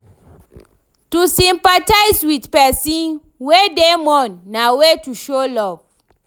To sympathize with persin wey de mourn na way to show love